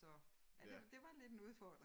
Så ja det det var lidt en udfordring